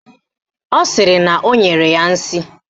Ọ sịrị na o nyere ya nsị